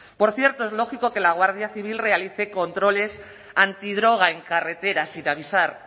por cierto es lógico que la guardia civil realice controles antidroga en carreteras sin avisar